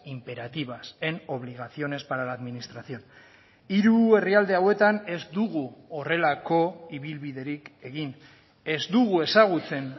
imperativas en obligaciones para la administración hiru herrialde hauetan ez dugu horrelako ibilbiderik egin ez dugu ezagutzen